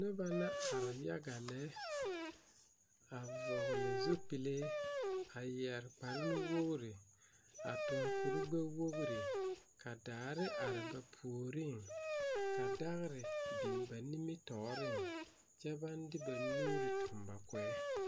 Noba la are yaga lɛ a vɔgle zupile a yɛre kpare nu wogri a tuŋ kurigbɛwogri ka daare are ba puoriŋ ka dagre biŋ ba nimitɔɔreŋ kyɛ baŋ de ba nuuri tuŋ ba koɛŋ.